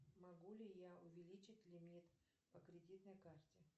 могу ли я увеличить лимит по кредитной карте